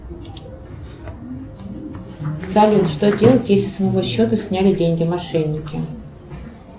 салют что делать если с моего счета сняли деньги мошенники